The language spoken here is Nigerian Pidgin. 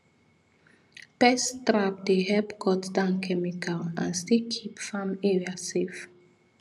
pest trap dey help cut down chemical and still keep farm area safe